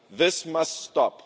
This must stop.